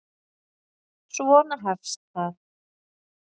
Svona hefst það: